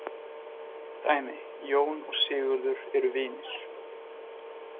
Dæmi: Jón og Sigurður eru vinir.